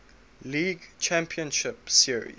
league championship series